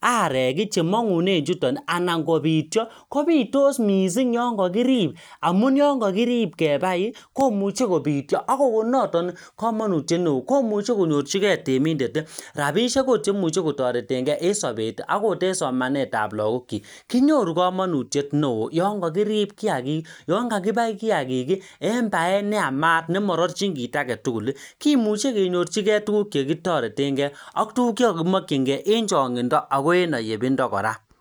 arek chemongunen chutoni anan kobitio kobitoss mising yonkokirib amun yoon kokirib kebai komuche kobitio akokon noton komonutiet neoo komuche konyorchikee temindet rapishek oot cheimuche kotoretngee en sobeti akot en somanetab lagokyik kinyoru komonutiet neoo yon kokirib kiagikii yoon kakibai kiagik en baet neama nemororchin kit agetugul kimuche kenyorchi kee tuguk chekiktoretngee chekokimokyikn kee en chongindo agenayebindo kora